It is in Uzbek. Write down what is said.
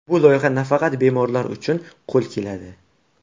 Bu loyiha nafaqat bemorlar uchun qo‘l keladi.